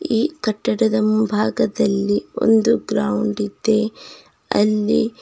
ಈ ಕಟ್ಟಡದ ಮುಂಭಾಗದಲ್ಲಿ ಒಂದು ಗ್ರೌಂಡ್ ಇದೆ ಅಲ್ಲಿ--